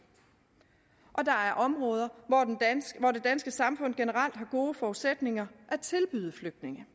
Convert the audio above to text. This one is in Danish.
og der er områder hvor det danske samfund generelt har gode forudsætninger at tilbyde flygtninge